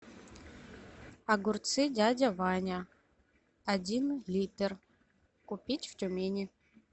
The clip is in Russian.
огурцы дядя ваня один литр купить в тюмени